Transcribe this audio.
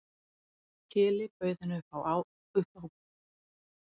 Keli bauð henni upp á gosdrykk og síðan settust þau við autt borð í salnum.